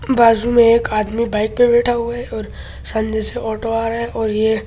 बाज़ू मे एक आदमी बाइक पे बैठा हुआ है और सानने से ऑटो आ रहा है और ये --